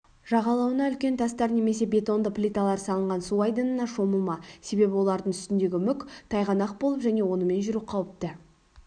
жағалауына үлкен тастар немесе бетонды плиталар салынған су айдынына шомылма себебі олардың үстіндегі мүк тайғанақ болып және онымен жүру қауіпті